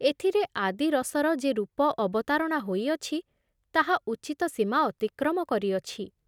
ଏଥିରେ ଆଦି ରସର ଯେ ରୂପ ଅବତାରଣା ହୋଇଅଛି, ତାହା ଉଚିତ ସୀମା ଅତିକ୍ରମ କରିଅଛି ।